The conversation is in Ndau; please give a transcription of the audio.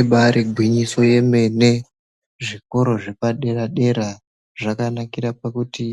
Ibaari gwinyiso yemene zvikoro zvepadera-dera zvakanakira pakuti